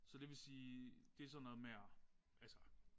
Så det vil sige det sådan noget med at altså